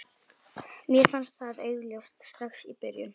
Mér fannst það augljóst strax í byrjun.